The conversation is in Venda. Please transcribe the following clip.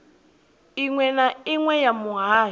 inwe na inwe ya muhasho